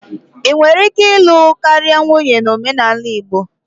Ị nwere ike ịlụ karịa nwunye na omenala Igbo.